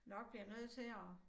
Nok bliver nødt til at